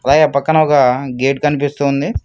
అలాగే పక్కన ఒక గేటు కనిపిస్తోంది.